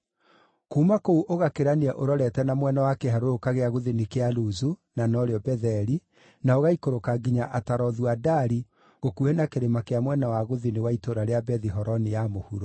Kuuma kũu ũgakĩrania ũrorete na mwena wa kĩharũrũka kĩa gũthini kĩa Luzu (na norĩo Betheli) na ũgaikũrũka nginya Atarothu-Adari gũkuhĩ na kĩrĩma kĩa mwena wa gũthini wa itũũra rĩa Bethi-Horoni ya Mũhuro.